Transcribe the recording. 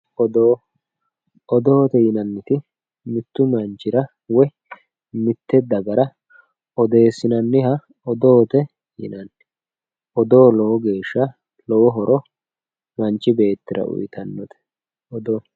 Odoo, odoote yinnanniti mitu woyi mite dagara odeessinanniha odoote yinnanni ,odoo lowo geesha manchi beettira horo uyittanote odoote.